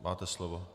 Máte slovo.